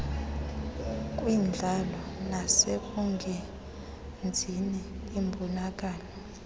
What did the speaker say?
kwindlala nasekungenzini imbonakalo